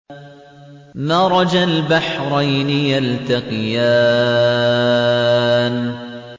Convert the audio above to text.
مَرَجَ الْبَحْرَيْنِ يَلْتَقِيَانِ